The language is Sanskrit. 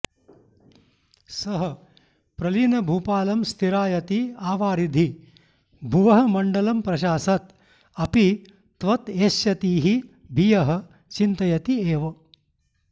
सः प्रलीनभूपालं स्थिरायति आवारिधि भुवः मण्डलं प्रशासत् अपि त्वत् एष्यतीः भियः चिन्तयति एव